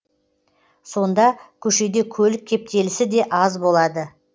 сонда көшеде көлік кептелісі де аз болады